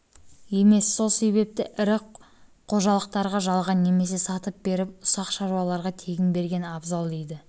емес сол себепті ірі қожалықтарға жалға немесе сатып беріп ұсақ шаруаларға тегін берген абзал дейді